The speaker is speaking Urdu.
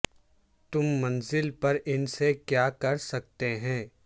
تم منزل پر ان سے کیا کر سکتے ہیں